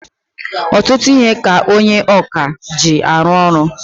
Ọtụtụ ihe ka onye ọkà ji arụ ọrụ.